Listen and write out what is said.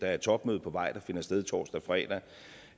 er et topmøde på vej der finder sted torsdag og fredag